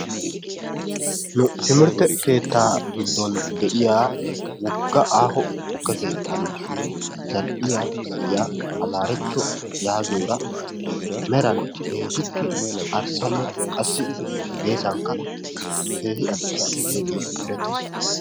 Nu timirtte keettaa giddon de"iya wogga aaho tukke keettan zall"iya na"iya Amaarechcho yaagiyoora meran keehippe arssanne qassi geesankka keehi adussa gidiyogee erettees.